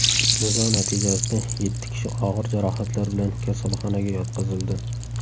Nizo natijasida yetti kishi og‘ir jarohatlar bilan kasalxonaga yotqizildi.